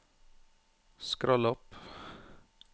skroll opp